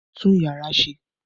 Tú ìyàrá ṣe!